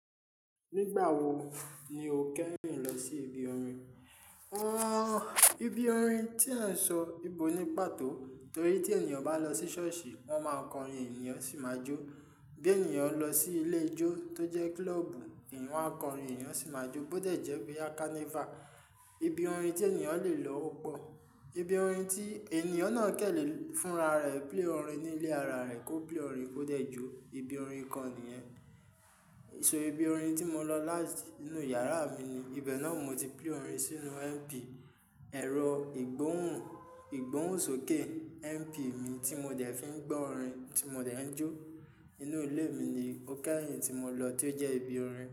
Nígbà wo ni o kẹ́rìnhìn lọ sí ibi orin? Ibi orin tí ẹ ń sọ, ìbò ní pàtó. Torí tí ènìyàn bá lọ sí ṣọ́ọ̀ṣì, wọ́n máa kọrin, ènìyàn sì máa jó. Bí ènìyàn lọ sí ilé ijó tó jẹ́ kílọ̀ọ̀bù, wa á kọrin, ènìyàn sì máa jó. Bó dẹ̀jẹ́ boya kánífà, ibi orin tí ènìyàn le lọ ó pọ̀. Ibi orin tí ènìyàn náà kẹ́lẹ̀ fúnra rẹ̀, play orin ní ilé ara rẹ̀, kó play orin, kó dẹ̀jo ibi orin kan nìyẹn. So ibi orin tí mo lọ láti inú yàrá mi ni. Ibẹ̀ náà mo ti play orin sínú MP. Ẹ̀rọ ìgbóhùn, ìgbóhùn sókè MP mi tí mo dẹ̀ fi ń gbọ́ orin tí mo dẹ̀ ń jó. Inú ilé mi ni ó kẹ́rìnhìn tí mo lọ tí ó jẹ́ ibi orin.